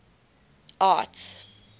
arts